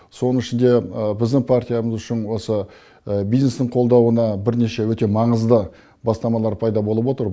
соны ішінде біздің партиямыз үшін осы бизнестің қолдауына бірнеше өте маңызды бастамалар пайда болып отыр